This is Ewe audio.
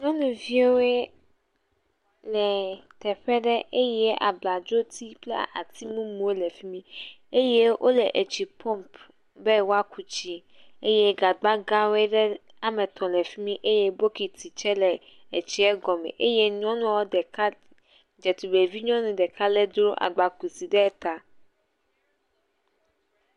Nyɔnuviwo le teƒe ɖe eye abladzo ti kple ati mumuwo le fimi eye wole etsi pɔmp be woa ku tsi eye gagba gã aɖe woame etɔ wole fimi eye bɔkiti tse le etia gɔme eye nyɔnua ɖeka, eɖtugbuivi nyɔnu ɖeka dro agba kusi ɖe ta.